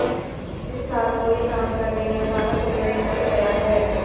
इस साल कोई काम करने का सारा समय निकल गया है